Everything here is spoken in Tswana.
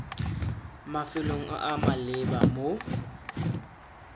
mafelong a a maleba mo